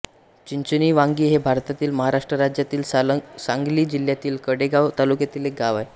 चिंचणीवांगी हे भारतातील महाराष्ट्र राज्यातील सांगली जिल्ह्यातील कडेगांव तालुक्यातील एक गाव आहे